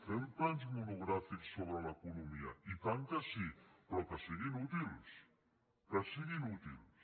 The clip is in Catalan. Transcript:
fem plena monogràfics sobre l’economia i tant que sí però que siguin útils que siguin útils